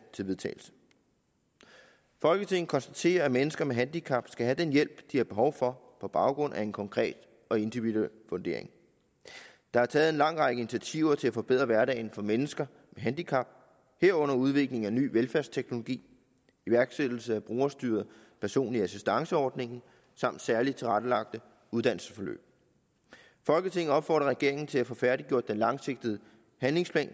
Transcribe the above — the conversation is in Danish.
til vedtagelse folketinget konstaterer at mennesker med handicap skal have den hjælp de har behov for på baggrund af en konkret og individuel vurdering der er taget en lang række initiativer til at forbedre hverdagen for mennesker med handicap herunder udvikling af ny velfærdsteknologi iværksættelse af brugerstyret personlig assistance ordningen samt særligt tilrettelagte uddannelsesforløb folketinget opfordrer regeringen til at få færdiggjort den langsigtede handlingsplan